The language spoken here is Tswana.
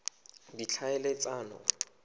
ditlhaeletsano